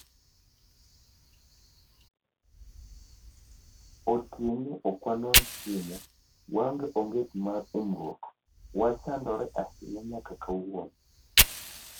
Otieno ok wanwang’ chiemo, waonge onget mar umruok, wachandore ahinya nyaka kawuono.